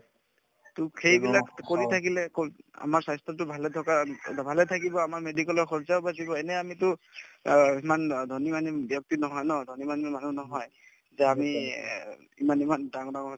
to সেইবিলাক কৰি থাকিলে আমাৰ স্বাস্থ্যতো ভালে থকাৰ ভালে থাকিব আমাৰ medical ৰ খৰচাও বাচিব এনে আমিতো অ সিমান ধনী মানী ব্যক্তি নহয় ন ধনী মানুহ নহয় তে আমি এ ইমান ইমান ডাঙৰ ডাঙৰ